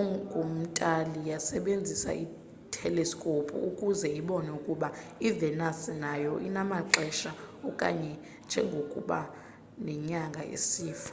engum-itali yasebenzisa iteleskophu ukuze ibone ukuba i-venus nayo inamaxesha kanye njengokuba nenyanga isifa